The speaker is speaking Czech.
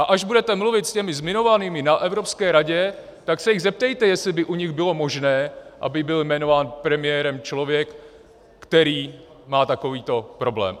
A až budete mluvit s těmi zmiňovanými na Evropské radě, tak se jich zeptejte, jestli by u nich bylo možné, aby byl jmenován premiérem člověk, který má takovýto problém.